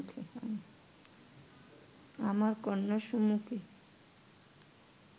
আমার কন্যার সুমুখে